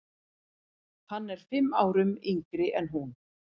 Hann er fimm árum yngri en hún.